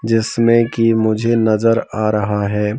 जिसमें कि मुझे नजर आ रहा है।